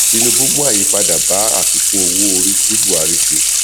tinubu mú àyípadà bá àfikún owó orí tí buhari ṣe